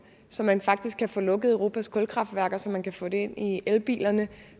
så man faktisk kan få lukket europas kulkraftværker så man kan få det ind i elbilerne